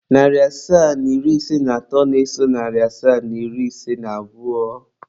Narị asaa na iri ise na atọ na-eso narị asaa na iri ise na abụọ.